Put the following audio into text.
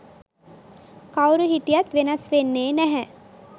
කවුරු හිටියත් වෙනස් වෙන්නෙ නැහැ.